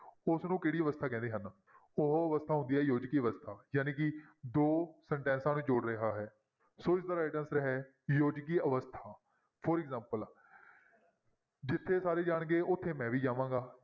ਉਸਨੂੰ ਕਿਹੜੀ ਅਵਸਥਾ ਕਹਿੰਦੇ ਹਨ ਉਹ ਅਵਸਥਾ ਹੁੰਦੀ ਹੈ ਯੋਜਕੀ ਅਵਸਥਾ ਜਾਣੀ ਕਿ ਦੋ ਸਨਟੈਂਸਾਂ ਨੂੰ ਜੋੜ ਰਿਹਾ ਹੈ, ਸੋ ਇਸਦਾ right answer ਹੈ ਯੋਜਕੀ ਅਵਸਥਾ for example ਜਿੱਥੇ ਸਾਰੇ ਜਾਣਗੇ ਉੱਥੇ ਮੈਂ ਵੀ ਜਾਵਾਂਗਾ।